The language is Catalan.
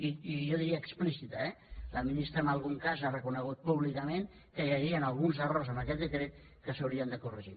i jo diria explícita eh la ministra en algun cas ha reconegut públicament que hi havien alguns errors en aquest decret que s’haurien de corregir